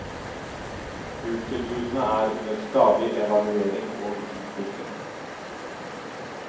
Kurstilbudene er under stadig evaluering og utvikling.